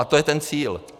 A to je ten cíl.